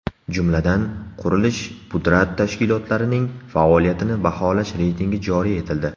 Jumladan, qurilish-pudrat tashkilotlarining faoliyatini baholash reytingi joriy etildi.